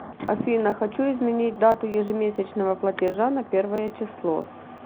афина хочу изменить дату ежемесячного платежа на первое число